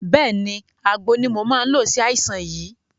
Bẹ́ẹ̀ni, àgbo ni mò máa ń lo sí àìsàn yìí